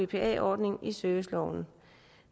bpa ordningen i serviceloven